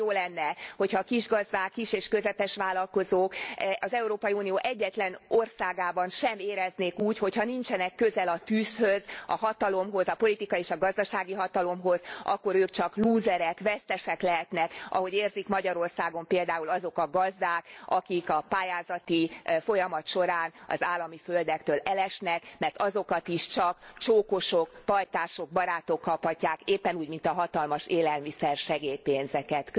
Nagyon jó lenne, ha a kisgazdák, kis és közepes vállalkozók az Európai Unió egyetlen országában sem éreznék úgy, hogy ha nincsenek közel a tűzhöz, a hatalomhoz, a politikai és a gazdasági hatalomhoz, akkor ők csak lúzerek, vesztesek lehetnek, ahogy érzik Magyarországon például azok a gazdák, akik a pályázati folyamat során az állami földektől elesnek, mert azokat is csak csókosok, pajtások, barátok kaphatják, éppen úgy, mint a hatalmas élelmiszersegély pénzeket.